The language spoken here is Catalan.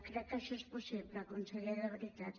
crec que això és possible conseller de veritat